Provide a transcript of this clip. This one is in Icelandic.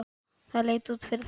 Það leit út fyrir það.